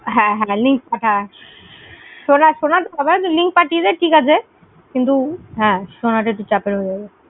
হ্যাঁ হ্যাঁ link পাঠা link পাঠিয়ে দে, ঠিক আছে। কিন্তু, হ্যাঁ, শোনাটা একটু চাপের হয়েযাবে।